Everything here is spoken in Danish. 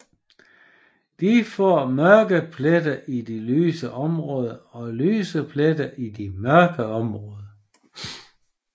De får mørke pletter i de lyse områder og lyse pletter i de mørke områder